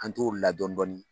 An tor'o la dɔɔnin dɔɔnin